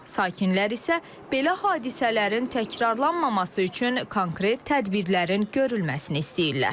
Sakinlər isə belə hadisələrin təkrarlanmaması üçün konkret tədbirlərin görülməsini istəyirlər.